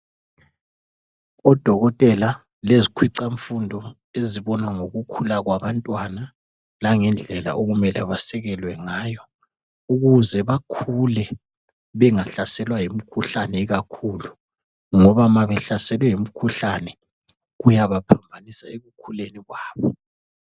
Odokotela lezikhwicamfundo ezibona ngokukhula kwabantwana langendlela okumele basikelwe ngayo ukuze bakhule bengahlaselwa yimikhuhlane ikakhulu ngoba ma behlaselwe yimikhuhlane kuyabaphambanisa ekukhuleni kwabo.